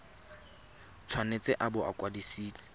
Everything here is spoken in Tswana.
tshwanetse a bo a kwadisitswe